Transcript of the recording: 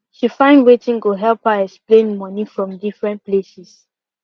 she find wetin go help her explain moni from different places